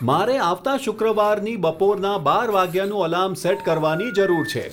મારે આવતા શુક્રવારની બપોરના બાર વાગ્યાનું એલાર્મ સેટ કરવાની જરૂર છે